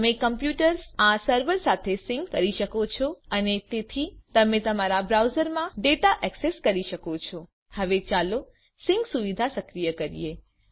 તમે કમ્પ્યુટર્સને આ સર્વર સાથે સિંક સમન્વિત કરી શકો છો અને તેથી તમે તમારા બ્રાઉઝરમાં ડેટા ઍક્સેસ કરી શકો છો હવે ચાલો સિંક સુવિધાઓ સક્રિય કરીએ